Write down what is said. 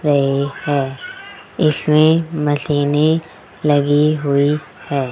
रही है इसमें मशीनें लगी हुई है।